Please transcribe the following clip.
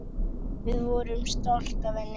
Við vorum stolt af henni.